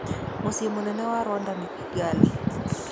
Mũciĩ mũnene wa Rwanda nĩ Kigali.